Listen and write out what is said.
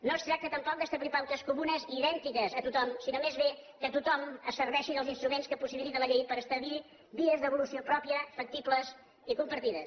no es tracta tampoc d’establir pautes comunes idèntiques a tothom sinó més aviat que tothom es serveixi dels instruments que possibilita la llei per establir vies d’evolució pròpia factibles i compartides